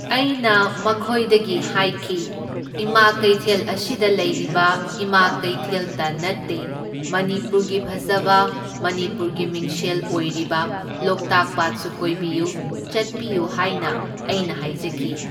ꯑꯩꯅ ꯃꯈꯣꯏꯗꯒꯤ ꯍꯥꯏꯈꯤ, ꯏꯃꯥ ꯀꯩꯊꯦꯜ ꯑꯁꯤꯗ ꯂꯩꯔꯤꯕ ꯏꯃꯥ ꯀꯩꯊꯦꯜꯇ ꯅꯠꯇꯦ, ꯃꯅꯤꯄꯨꯔꯒꯤ ꯐꯖꯕ ꯃꯅꯤꯄꯨꯔꯒꯤ ꯃꯤꯡꯁꯦꯜ ꯑꯣꯏꯔꯤꯕ ꯂꯣꯛꯇꯥꯛ ꯄꯥꯠꯁꯨ ꯀꯣꯏꯕꯤꯌꯨ ꯆꯠꯄꯤꯌꯨ ꯍꯥꯏꯅ ꯑꯩꯅ ꯍꯥꯏꯖꯈꯤ꯫